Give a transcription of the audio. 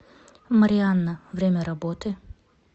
марианна время работы